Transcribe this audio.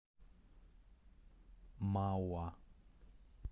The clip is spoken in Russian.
мауа